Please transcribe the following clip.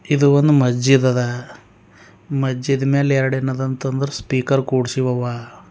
ಇದು ಒಂದು ಮಸ್ಜಿದ್ ಅದ ಮಜ್ಜಿದ್ ಮೇಲೆ ಎರಡೇನದತಂದ್ರೆ ಸ್ಪೀಕರ್ ಕೂಡ್ಸಿವವ.